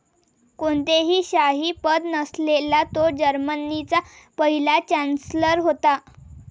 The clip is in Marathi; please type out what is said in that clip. कोणतेही शाही पद नसलेला तो जर्मनीचा पहिला चांन्सलर होता.